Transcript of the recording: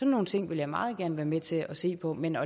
nogle ting vil jeg meget gerne være med til at se på men